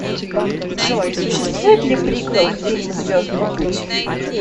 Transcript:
джой существует ли приквел к фильму звездныи путь